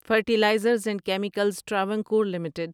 fertilizers and chemicals Travancore limited